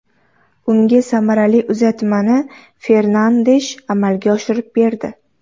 Unga samarali uzatmani Fernandesh amalga oshirib berdi.